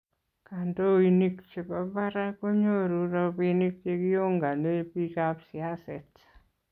kandoinik chebo barak konyoru robinik chegiongane bikaap siaset